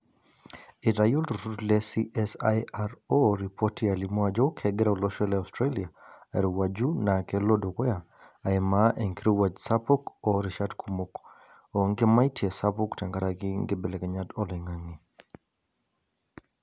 Eitayio CSIRO ripoti alimu ajo kegira olosho le Australia airowuaju naa kelo dukuya aimaa enkirowuaj sapuk orishat kumok oonkimaitie sapuk tenkaraki nkibelekenyat oloingange.